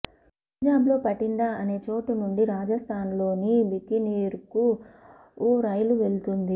పంజాబ్లో పటిండా అనే చోటు నుండి రాజస్థాన్లోని బికనీర్కు ఓ రైలు వెళుతుంది